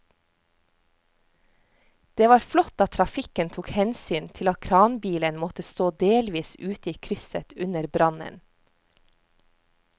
Det var flott at trafikken tok hensyn til at kranbilen måtte stå delvis ute i krysset under brannen.